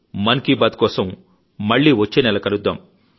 మన్ కీ బాత్ కోసం మళ్లీ వచ్చే నెల కలుద్దాం